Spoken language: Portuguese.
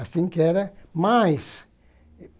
Assim que era mais.